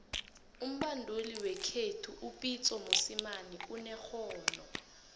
umbanduli wekhethu upitso mosemane unerhono